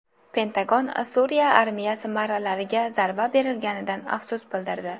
Pentagon Suriya armiyasi marralariga zarba berilganidan afsus bildirdi.